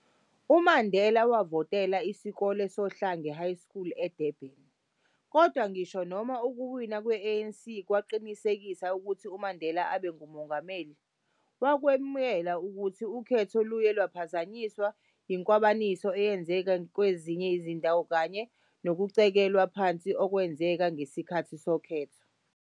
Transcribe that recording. UMandela wavotela esikoleni sOhlange High School eDurban, kodwa ngisho noma ukuwina kwe-ANC kwaqinisekisa ukuthi uMandela abe nguMongameli, wakwemukela ukuthi ukhetho luye lwaphazanyiswa yinkwabaniso eyenzeka kwezinye izindawo kanye nokucikelwa phansi okwenzeka ngesikhkathi sokhetho.